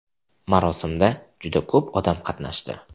Marosimda juda ko‘p odam qatnashdi.